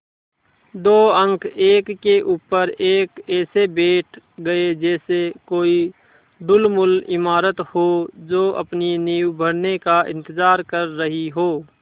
दो अंक एक के ऊपर एक ऐसे बैठ गये जैसे कोई ढुलमुल इमारत हो जो अपनी नींव भरने का इन्तज़ार कर रही हो